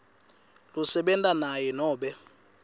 losebenta naye nobe